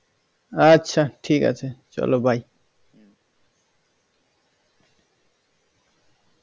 আচ্ছা ঠিক আছে চলো bye